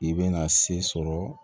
I bɛna se sɔrɔ